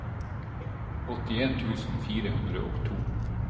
åttien tusen fire hundre og to